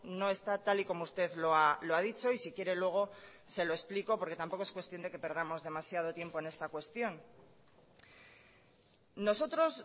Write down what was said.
no está tal y como usted lo ha dicho y si quiere luego se lo explico porque tampoco es cuestión de que perdamos demasiado tiempo en esta cuestión nosotros